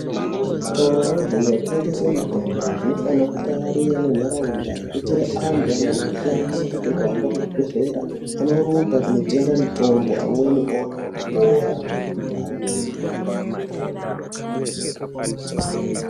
Zvitoro zvinotengese mitombo zvinofane kupararira nentharaunda, kuitira anthu ane mukhuhlani isikadi kuhamba kuzvibhedhlera, anorumba kunotenga mitombo, amweni onwa opora ipapo.